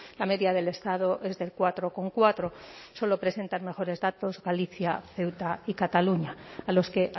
la media del estado es del cuatro coma cuatro solo presentan mejores datos galicia ceuta y cataluña a los que